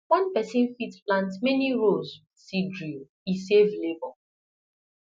one person fit plant many rows with seed drill e save labour